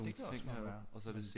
Det kan også godt være